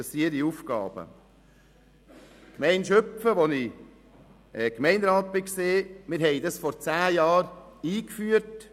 Die Gemeinde Schüpfen, in welcher ich Gemeinderat war, führte die Vertrauensarbeitszeit vor zehn Jahren ein.